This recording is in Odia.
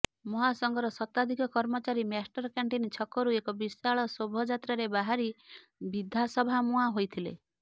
ମହାସଂଘର ଶତାଧିକ କର୍ମଚାରୀ ମାଷ୍ଟରକ୍ୟାଣ୍ଟିନ ଛକରୁ ଏକ ବିଶାଳ ଶୋଭାଯାତ୍ରାରେ ବାହାରି ବିଧାସଭା ମୁହାଁ ହୋଇଥିଲେ